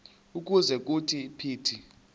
ukuze kuthi phithi